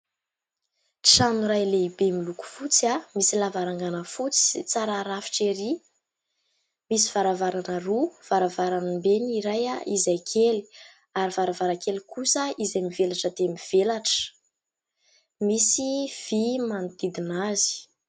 Trano iray lehibe miloko fotsy misy lavarangana fotsy sy tsara rafitra ery ; misy varavarana roa varavarambe ny iray izay kely ary varavarankely kosa izay mivelatra dia mivelatra misy vy manodidina azy.